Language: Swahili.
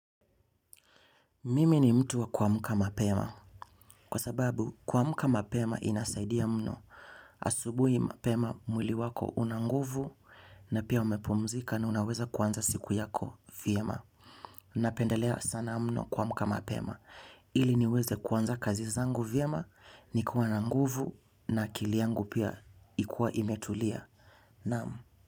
Mimi ni mtu wa kumka mapema. Kwa sababu, kuamka mapema inasaidia mno. Asubuhi mapema mwili wako una nguvu na pia umepumzika na unaweza kuanza siku yako vyema. Napendelea sana mno kuamka mapema. Ili niweze kuanza kazi zangu vyema nikiwa na nguvu na akili yangu pia ikuwa imetulia. Naam.